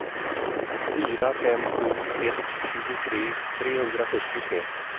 fyra fem sju ett tjugotre trehundrasjuttiotre